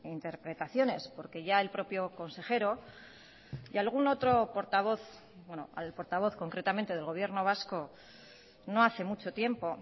interpretaciones porque ya el propio consejero y algún otro portavoz al portavoz concretamente del gobierno vasco no hace mucho tiempo